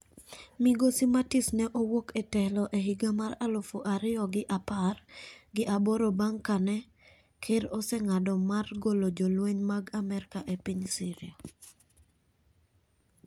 Migosi Mattis ne owuok e telo e higa mar aluf ariyo gi apar gi aboro bang' kane ker oseng'ado mar golo jolweny mag Amerka e piny Syria.